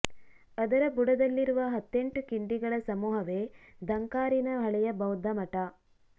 ಅದರ ಬುಡದಲ್ಲಿರುವ ಹತ್ತೆಂಟು ಕಿಂಡಿಗಳ ಸಮೂಹವೇ ಧಂಕಾರಿನ ಹಳೆಯ ಬೌದ್ಧ ಮಠ